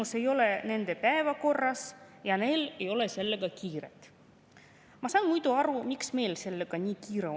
Sõbrad, me ei ole suutnud 30 aastaga korraldada korralikku eesti keele õpet Eesti koolides ja lõppkokkuvõttes on rahvusvähemuste huvid ja võimalused meie ühiskonnas siiamaani piiratud.